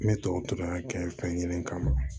N bɛ tubabu kalan kɛ fɛn kelen kama